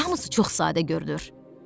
Hamısı çox sadə görünür.